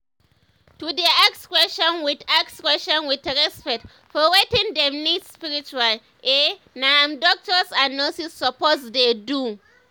to dey ask question with ask question with respect for wetin dem need spiritually eh na im doctors and nurses suppose dey do.